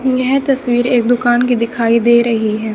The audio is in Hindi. यह तस्वीर एक दुकान की दिखाई दे रही है।